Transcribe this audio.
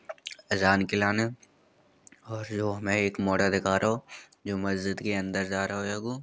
अजान के लाने और जो हमें एक मॉडल दिखा रहो जो मस्जिद के अंदर जा रहो हैगो।